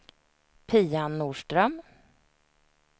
Pia Norström